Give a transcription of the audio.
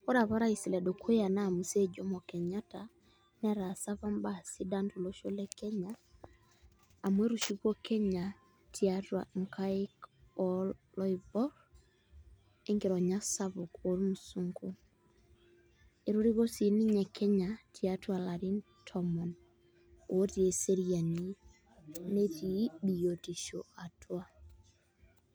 Ore apa orais ledukuya naa Mzee Jomo Kenyatta netaasa apa imbaa sidan tolosho le Kenya amu etushukuo apa Kenaya toonkaik oloiboorr o enkironya sapuk ormusungu etoriko sii Kenya toolarin tomon ootii eseriani netii biotisho atua.